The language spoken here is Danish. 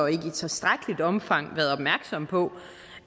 ikke i tilstrækkeligt omfang har været opmærksomme på